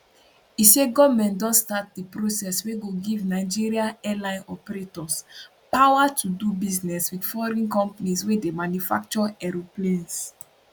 e say goment don start di process wey go give nigeria airline operators power to do business wit foreign companies wey dey manufacture aeroplanes